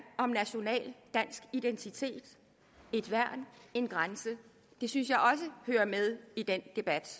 om national dansk identitet et værn en grænse det synes jeg også hører med i den debat